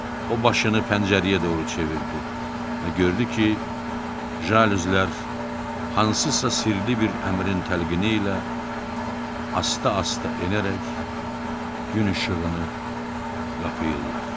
O başını pəncərəyə doğru çevirdi və gördü ki, jalüzlər hansısa sirli bir əmrin təlqini ilə asta-asta enərək gün işığını qapıyırlar.